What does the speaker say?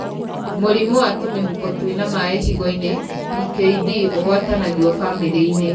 Mũrimũ wa tũmĩhuko twĩna maĩ higo-inĩ (PKD) úgwatanagio bamĩrĩ-inĩ.